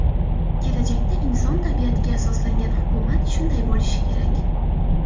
Kelajakda inson tabiatiga asoslangan hukumat shunday bo‘lishi kerak.